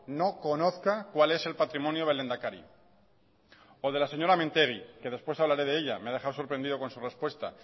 no conozca cuál es el patrimonio del lehendakari o de la señora mintegi que después hablaré de ella me ha dejado sorprendido con su respuesta